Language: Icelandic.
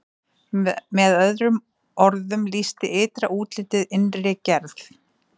með öðrum orðum lýsti ytra útlitið innri gerð